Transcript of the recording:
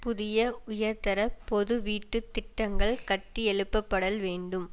புதிய உயர்தர பொது வீட்டு திட்டங்கள் கட்டியெழுப்பப்படல் வேண்டும்